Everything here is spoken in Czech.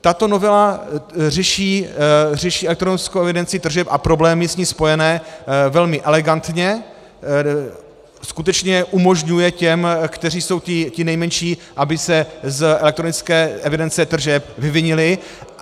Tato novela řeší elektronickou evidenci tržeb a problémy s ní spojené velmi elegantně, skutečně umožňuje těm, kteří jsou ti nejmenší, aby se z elektronické evidence tržeb vyvinili.